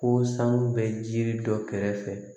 Ko sanu bɛ jiri dɔ kɛrɛfɛ